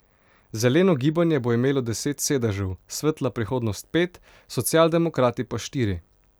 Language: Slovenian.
Zeleno gibanje bo imelo deset sedežev, Svetla prihodnost pet, Socialdemokrati pa štiri.